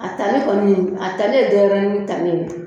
A tali kɔni, a tali ye deniyɛrɛni tali ye.